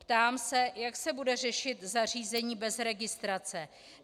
Ptám se, jak se bude řešit zařízení bez registrace.